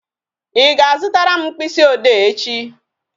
Ị ga-azutara m mkpịsị ode echi?